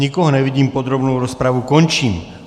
Nikoho nevidím, podrobnou rozpravu končím.